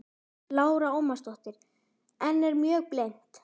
Lára Ómarsdóttir: En er mjög blint?